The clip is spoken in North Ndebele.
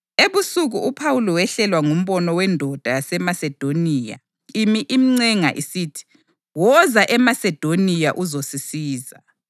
Ebusuku uPhawuli wehlelwa ngumbono wendoda yaseMasedoniya imi imncenga isithi, “Woza eMasedoniya uzosisiza.”